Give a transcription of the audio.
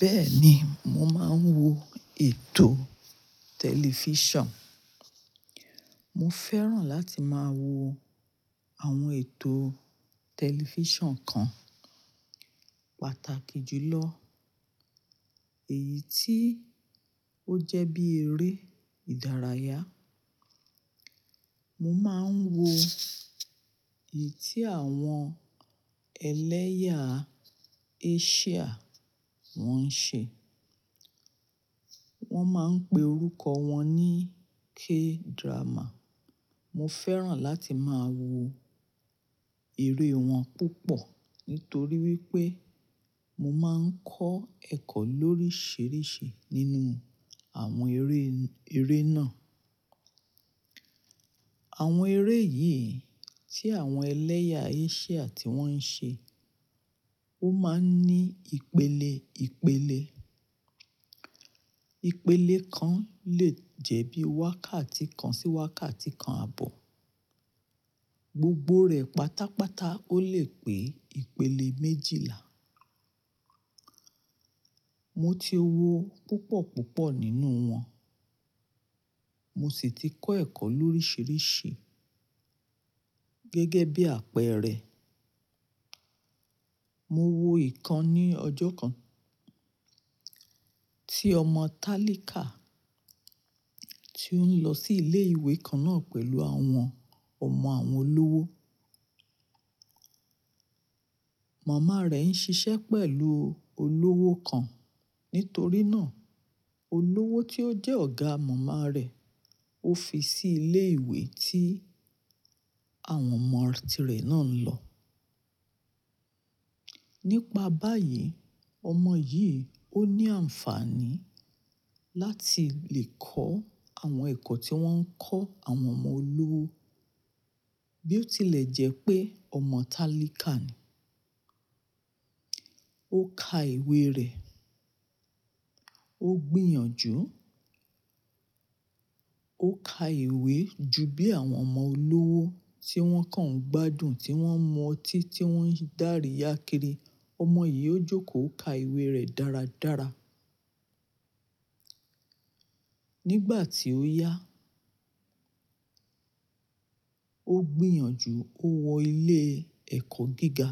Bẹ́ẹ̀ni, mo máa ń wo ètò tẹlifíṣàn. Mo fẹ́ràn láti máa wo àwọn ètò tẹlifíṣàn kan pàtàkì jùlọ èyí tí ó jẹ́ bí eré ìdárayá. Mo máa ń wo èyí tí àwọn ẹlẹ́yà Asia wọ́n ń ṣe. Wọ́n máa ń pe orúkọ wọn ní K-drama. Mo fẹ́ràn láti máa wo eré wọn púpọ̀ nítorí wípé mo máa ń kọ́ ẹ̀kọ́ lóríṣiríṣi nínú àwọn eré, eré náà. Àwọn eré yìí tí àwọn ẹlẹ́yà Asia tí wọ́n ń ṣe, ó máa ń ní ìpele ìpele. Ìpele kan lè jẹ́ bí wákàtí kan sí wákàtí kan àbọ̀. Gbogbo rẹ̀ pátápátá ó lè pé ìpele méjìlá. Mo ti wo púpọ̀ púpọ̀ nínú wọn, mo sì ti kọ́ ẹ̀kọ́ lóríṣiríṣi gẹ́gẹ́ bí àpẹẹrẹ, mo wo ìkan ní ọjọ́ kan tí ọmọ Talika tí ó ń lọ sí ilé ìwé kan náà pẹ̀lú àwọn ọmọ àwọn olówó. Màmá rẹ̀ ń ṣiṣẹ́ pẹ̀lú olówó kan. Nítorí náà, olówó tí ó jẹ́ ọ̀gá màmá rẹ̀ ó fi sí ilé ìwé tí àwọn ọmọ tirẹ̀ náà ń lọ. Nípa báyìí, ọmọ yìí ó ní àǹfààní láti lè kọ́ àwọn ẹ̀kọ́ tí wọ́n ń kọ́ àwọn ọmọ olówó. Bí ó tilẹ̀ jẹ́ pé ọmọ Talika ni. Ó ka ìwé rẹ̀, ó gbìyànjú, ó ka ìwé ju bí àwọn ọmọ olówó tí wọ́n kàn gbádùn tí wọ́n mu ọtí tí wọ́n ń daríya kiri. Ọmọ yìí ó jókòó ka ìwé rẹ̀ dáradára. Nígbà tí ó yá, ó gbìyànjú ó wọ ilé ẹ̀kọ́ gíga.